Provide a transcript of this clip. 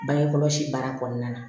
Bange kɔlɔsi baara kɔnɔna na